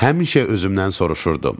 Həmişə özümdən soruşurdu: